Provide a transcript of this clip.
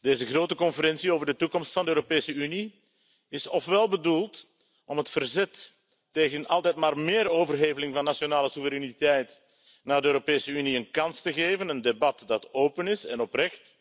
Deze grote conferentie over de toekomst van de Europese Unie is ofwel bedoeld om het verzet tegen altijd maar meer overheveling van nationale soevereiniteit naar de Europese Unie een kans te geven, een debat dat open is en oprecht